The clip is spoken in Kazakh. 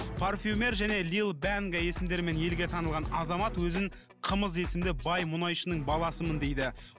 парфюмер және лил данге есімдермен елге танылған азамат өзін қымыз есімді бай мұнайшының баласымын дейді